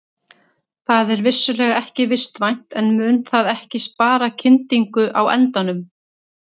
Það er vissulega ekki vistvænt en mun það ekki spara kyndingu á endanum?